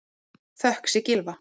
Þökk sé Gylfa